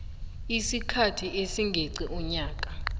isikhathi esingeqi umnyaka